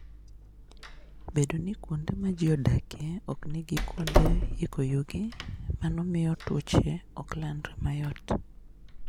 Bedo ni kuonde ma ji odakie ok nigi kuonde yiko yugi, mano miyo tuoche ok landre mayot.